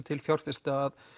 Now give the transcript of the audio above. til fjárfesta